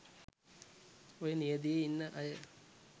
ඔය නියැදියේ ඉන්න අය